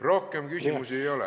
Rohkem küsimusi ei ole.